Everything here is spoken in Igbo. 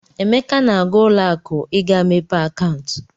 Emeka na-aga ụlọakụ ị ga-mepe akaụntụ.